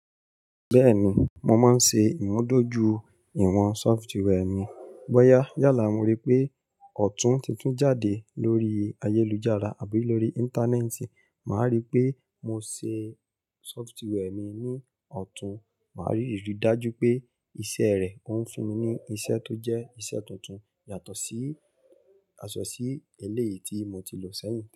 Bẹ́ẹ̀ni, mo máa ń ṣe ìmúdójúìwọ̀n sọftíwẹ́ẹ̀ mi. Bọ́yá yálà mo rí pé ọ̀tún titun jáde lórí ayélujára àbí lórí Íńtánẹ́ẹ̀tì, màá rí pé mo ṣe sọftíwẹ́ẹ̀ mi ní ọ̀tún. Màá rí rí i dájú pé iṣẹ́ rẹ ó ń fún mi ní iṣẹ́ tó jẹ́ iṣẹ́ tuntun yàtọ̀ sí, àsọ̀ sí eléyìí tí mo ti lò sẹ́yìn.